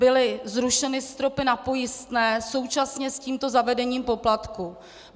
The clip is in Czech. Byly zrušeny stropy na pojistné současně s tímto zavedením poplatků.